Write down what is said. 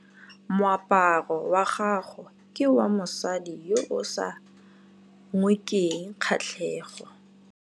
Moaparô wa gagwe ke wa mosadi yo o sa ngôkeng kgatlhegô.